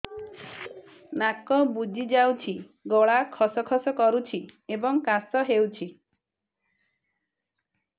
ନାକ ବୁଜି ଯାଉଛି ଗଳା ଖସ ଖସ କରୁଛି ଏବଂ କାଶ ହେଉଛି